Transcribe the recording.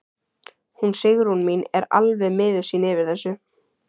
Hún Sigrún mín er alveg miður sín yfir þessu.